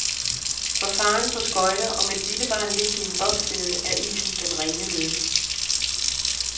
For faderen på skøjter og med det lille barn liggende i en bobslæde, er isen den rene lykke.